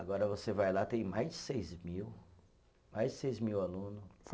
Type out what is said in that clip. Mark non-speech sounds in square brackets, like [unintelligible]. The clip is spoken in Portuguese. Agora você vai lá, tem mais de seis mil, mais de seis mil aluno. [unintelligible]